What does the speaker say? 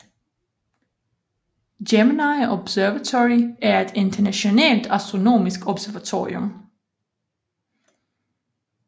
Gemini Observatory er et internationalt astronomisk observatorium